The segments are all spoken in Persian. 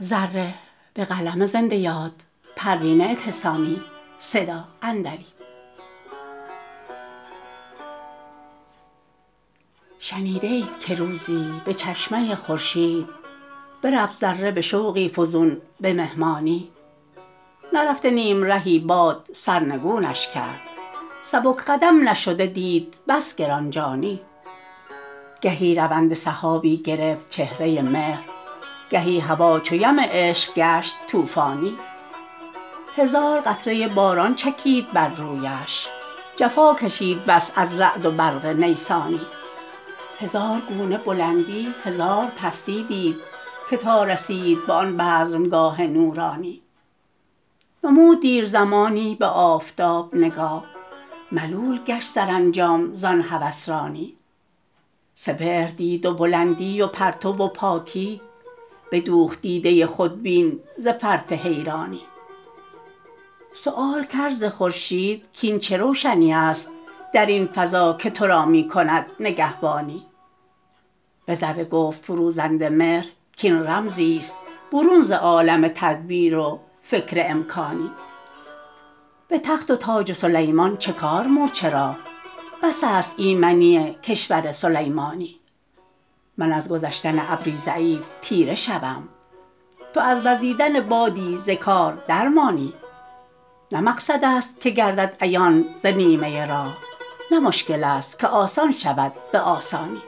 شنیده اید که روزی بچشمه خورشید برفت ذره بشوقی فزون بمهمانی نرفته نیمرهی باد سرنگونش کرد سبک قدم نشده دید بس گرانجانی گهی رونده سحابی گرفت چهره مهر گهی هوا چو یم عشق گشت طوفانی هزار قطره باران چکید بر رویش جفا کشید بس از رعد و برق نیسانی هزار گونه بلندی هزار پستی دید که تا رسید به آن بزمگاه نورانی نمود دیر زمانی به آفتاب نگاه ملول گشت سرانجام زان هوسرانی سپهر دید و بلندی و پرتو و پاکی بدوخت دیده خودبین ز فرط حیرانی سیوال کرد ز خورشید کاین چه روشنی است در این فضا که ترا میکند نگهبانی بذره گفت فروزنده مهر کاین رمزیست برون ز عالم تدبیر و فکر امکانی بتخت و تاج سلیمان چکار مورچه را بس است ایمنی کشور سلیمانی من از گذشتن ابری ضعیف تیره شوم تو از وزیدن بادی ز کار درمانی نه مقصد است که گردد عیان ز نیمه راه نه مشکل است که آسان شود بسانی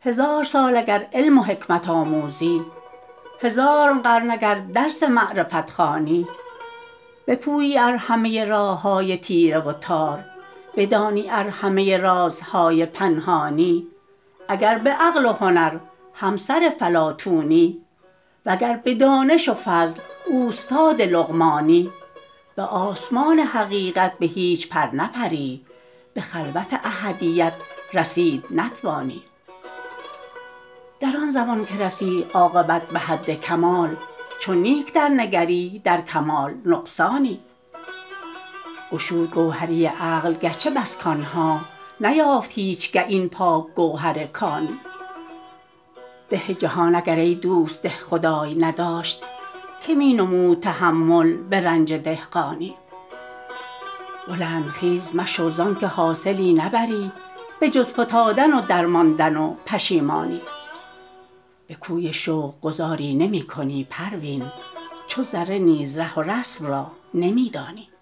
هزار سال اگر علم و حکمت آموزی هزار قرن اگر درس معرفت خوانی بپویی ار همه راههای تیره و تار بدانی ار همه رازهای پنهانی اگر بعقل و هنر همسر فلاطونی وگر بدانش و فضل اوستاد لقمانی بسمان حقیقت بهیچ پر نپری به خلوت احدیت رسید نتوانی در آنزمان که رسی عاقبت بحد کمال چو نیک در نگری در کمال نقصانی گشود گوهری عقل گرچه بس کانها نیافت هیچگه این پاک گوهر کانی ده جهان اگر ایدوست دهخدای نداشت که مینمود تحمل به رنج دهقانی بلند خیز مشو زانکه حاصلی نبری بخز فتادن و درماندن و پشیمانی بکوی شوق گذاری نمیکنی پروین چو ذره نیز ره و رسم را نمیدانی